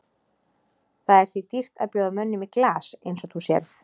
Það er því dýrt að bjóða mönnum í glas eins og þú sérð.